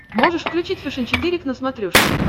можешь включить фэшен четыре к на смотрешке